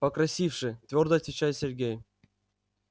покрасивше твёрдо отвечает сергей